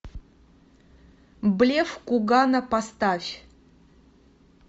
блеф кугана поставь